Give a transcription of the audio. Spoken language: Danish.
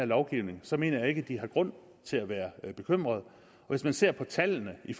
lovgivning så mener jeg ikke at de har grund til at være bekymrede hvis man ser på tallene i